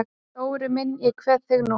Dóri minn ég kveð þig nú.